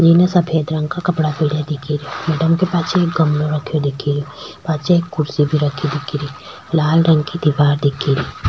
एने सफ़ेद रंग का कपडा पहना दिखे रा मैडम के पाछे एक गमलो रखयो दिखे रो पाछे एक कुर्सी भी रखी दिखे री लाल रंग की दिवार दिखे री